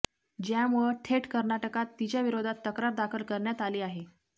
ज्यामुळं थेट कर्नाटकात तिच्याविरोधात तक्रार दाखल करण्यात आली आहे